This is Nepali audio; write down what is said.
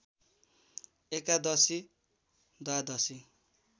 एकादशी द्वादशी